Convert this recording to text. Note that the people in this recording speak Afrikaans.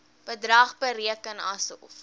bedrag bereken asof